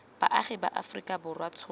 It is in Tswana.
baagi ba aforika borwa tshono